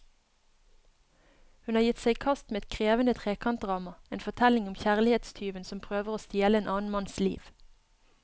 Hun har gitt seg i kast med et krevende trekantdrama, en fortelling om kjærlighetstyven som prøver å stjele en annen manns liv.